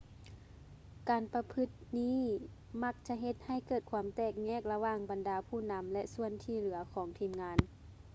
ການປະພຶດແບບນີ້ມັກຈະເຮັດໃຫ້ເກີດຄວາມແຕກແຍກລະຫວ່າງບັນດາຜູ້ນຳ ແລະ ສ່ວນທີ່ເຫຼືອຂອງທີມງານ